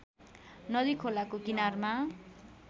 नदी खोलाको किनारमा